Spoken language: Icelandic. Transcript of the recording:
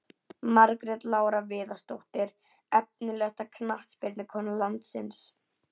Margrét Lára Viðarsdóttir Efnilegasta knattspyrnukona landsins?